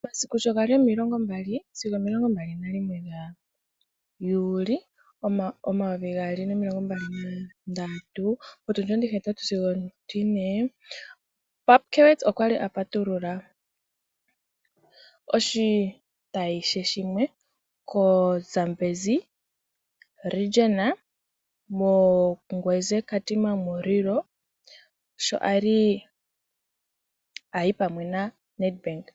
Omasiku sho ga li 20 sigo 21 Juli 2023 potundi ontihetatu sigo one yokomatango Pupkwewitz Toyota okwa li a patulula oshitayi she shimwe koshitopolwahogololo shaZambezi moNgweze Katima Mulilo sho a li a yi pamwe naNedbank.